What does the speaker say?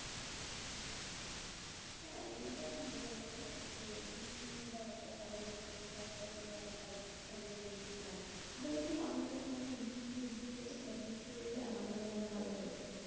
হ্যাঁ এইটা ঠিক বলছো। যে বৃষ্টি ব্যাপারটা সবারই পছন্দের সবারই কাছেই ব্যাপারটা একটুখানি romantic লাগে। আসলে কি? আমার কাছে মনে হয় বৃষ্টির দিনে বা বৃষ্টি হলে আমাদের মন ভালো হয় যায়।